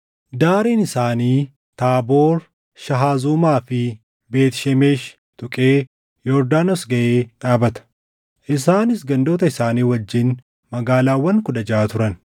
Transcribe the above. Daariin isaanii Taaboor, Shahazumaa fi Beet Shemeshi tuqee Yordaanos gaʼee dhaabata. Isaanis gandoota isaanii wajjin magaalaawwan kudha jaʼa turan.